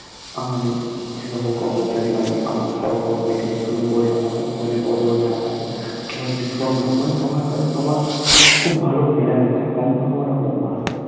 আমাদের সকল কর্মচারী মানে আমার সহকর্মী থেকে শুরু করে আমার উপরের পদ এ যারা আছে সবাই ভীষণ ভালো মানে সবার সাথে সবার খুব ভালো মেলামেশা সম্পর্ক টা খুব ভালো